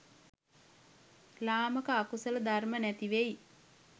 ළාමක අකුසල ධර්ම නැතිවෙයි.